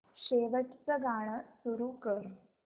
शेवटचं गाणं सुरू कर